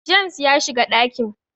James ya shiga dakin